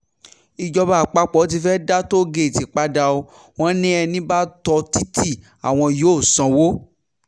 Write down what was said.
ìjọba àpapọ̀ tí fee dá tóò-gèètì padà ọ́ wọn ni ẹni bá tó títí àwọn yóò sanwó